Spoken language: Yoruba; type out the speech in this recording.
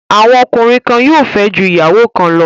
Àwọn ọkùnrin kan yóò fẹ́ ju ìyàwó kan lọ.